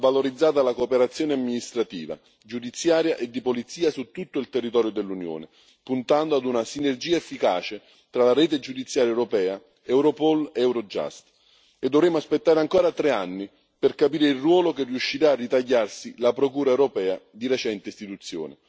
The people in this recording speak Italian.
Va valorizzata la cooperazione amministrativa, giudiziaria e di polizia su tutto il territorio dell'Unione, puntando ad una sinergia efficace tra la Rete giudiziaria europea, Europol e Eurojust, e dovremo aspettare ancora tre anni per capire il ruolo che riuscirà a ritagliarsi la Procura europea di recente istituzione.